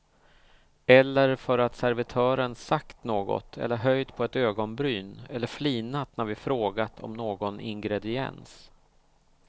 Eller för att servitören sagt något eller höjt på ett ögonbryn eller flinat när vi frågat om någon ingrediens.